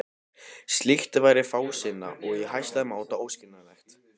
Slíkt væri fásinna og í hæsta máta óskynsamlegt.